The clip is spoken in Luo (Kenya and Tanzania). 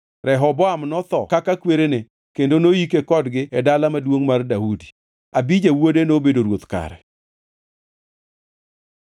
Rehoboam notho kaka kwerene kendo noyike kodgi e Dala Maduongʼ mar Daudi. Abija wuode nobedo ruoth kare.